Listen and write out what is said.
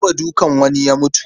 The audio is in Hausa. An taɓa dukan wani ya mutu.